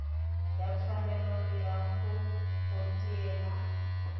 ya tshwanelo ya go potiela